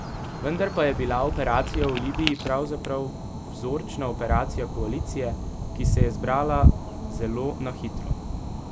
Vendar pa je bila operacija v Libiji pravzaprav vzorčna operacija koalicije, ki se je zbrala zelo na hitro.